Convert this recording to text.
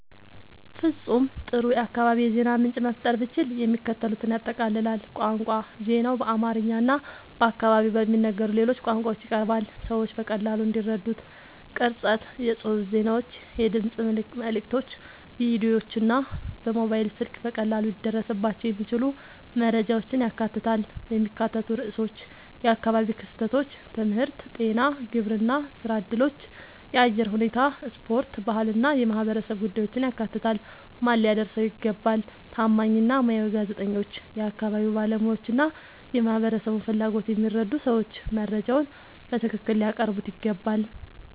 ፍጹም ጥሩ የአካባቢ የዜና ምንጭ መፍጠር ብችል፣ የሚከተሉትን ያጠቃልላል፦ ቋንቋ ዜናው በአማርኛ እና በአካባቢው በሚነገሩ ሌሎች ቋንቋዎች ይቀርባል፣ ሰዎች በቀላሉ እንዲረዱት። ቅርጸት የጽሑፍ ዜናዎች፣ የድምፅ መልዕክቶች፣ ቪዲዮዎች እና በሞባይል ስልክ በቀላሉ ሊደረስባቸው የሚችሉ መረጃዎችን ያካትታል። የሚካተቱ ርዕሶች የአካባቢ ክስተቶች፣ ትምህርት፣ ጤና፣ ግብርና፣ ሥራ እድሎች፣ የአየር ሁኔታ፣ ስፖርት፣ ባህል እና የማህበረሰብ ጉዳዮችን ያካትታል። ማን ሊያደርሰው ይገባ? ታማኝ እና ሙያዊ ጋዜጠኞች፣ የአካባቢ ባለሙያዎች እና የማህበረሰቡን ፍላጎት የሚረዱ ሰዎች መረጃውን በትክክል ሊያቀርቡት ይገባል።